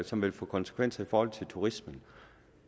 som vil få konsekvenser i forhold til turismen